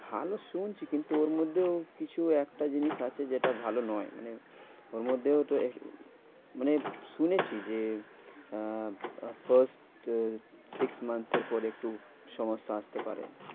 ভালো শুনছি কিন্তু ওর মধ্যেও কিছু একটা জিনিস আছে যেটা ভালো নয়। মানে ওর মধ্যেও তো মানে শুনেছি যে আহ first six month এর পরে একটু সমস্যা আসতে পারে।